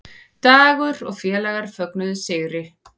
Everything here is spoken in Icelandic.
Dagur og félagar fögnuðu sigri